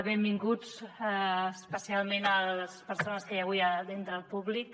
benvinguts especialment les persones que hi ha avui entre el públic